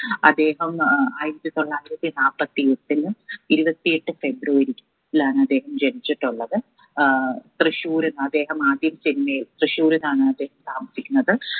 അദ്ദേഹം ഏർ ആയിരത്തി തൊള്ളായിരത്തി നാപ്പത്തി എട്ടിന് ഇരുപത്തി എട്ട് ഫെബ്രുവരി ലാണ് അദ്ദേഹം ജനിച്ചിട്ടുള്ളത് ഏർ തൃശൂരിന്ന് അദ്ദേഹം ആദ്യം തന്നെ തൃശൂരിലാണ് അദ്ദേഹം താമസിക്കുന്നത്